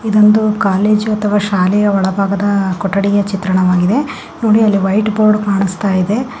ಇದೊಂದು ಕಾಲೇಜು ಅಥವಾ ಶಾಲೆಯ ಒಳಭಾಗದ ಕೊಟ್ಟಡಿಯ ಚಿತ್ರಣವಾಗಿದೆ ನೋಡಿ ಅಲ್ಲಿ ವೈಟ್ ಬೋರ್ಡ್ ಕಾಣಿಸ್ತಾ ಇದೆ .